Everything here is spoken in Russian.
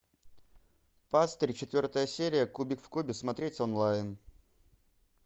пастырь четвертая серия кубик в кубе смотреть онлайн